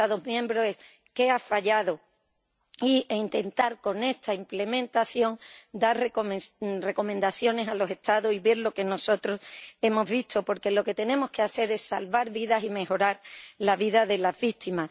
los Estados miembros es qué ha fallado, e intentar con esta implementación dar recomendaciones a los Estados y ver lo que nosotros hemos visto, porque lo que tenemos que hacer es salvar vidas y mejorar la vida de las víctimas.